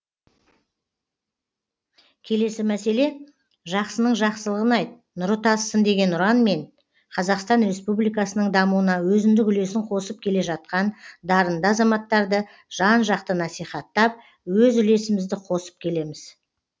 келесі мәселе жақсының жақсылығын айт нұры тасысын деген ұранмен қазақстан республикасының дамуына өзіндік үлесін қосып келе жатқан дарынды азаматтарды жан жақты насихаттап өз үлесімізді қосып келеміз